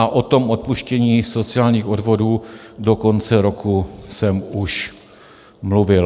A o tom odpuštění sociálních odvodů do konce roku jsem už mluvil.